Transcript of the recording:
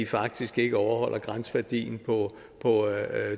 faktisk ikke overholder grænseværdien på